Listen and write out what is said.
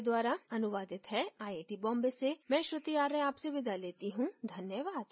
यह स्क्रिप्ट बिंदु पांडे द्वारा अनुवादित है आईआईटी बॉम्बे से मैं श्रुति आर्य आपसे विदा लेती हूँ धन्यवाद